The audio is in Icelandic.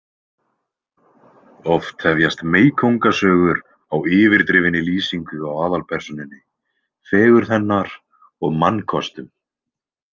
Oft hefjast meykóngasögur á yfirdrifinni lýsingu á aðalpersónunni, fegurð hennar og mannkostum.